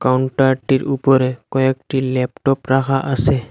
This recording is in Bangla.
কাউন্টারটির উপরে কয়েকটি ল্যাপটপ রাখা আসে।